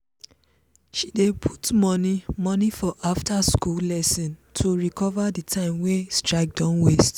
she dey put money money for after-school lesson to recover the time wey strike don waste.